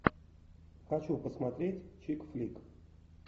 хочу посмотреть чик флик